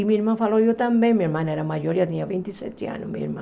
E minha irmã falou, eu também, minha irmã era maior, eu tinha vinte e sete anos, minha irmã.